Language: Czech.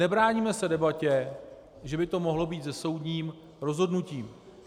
Nebráníme se debatě, že by to mohlo být se soudním rozhodnutím.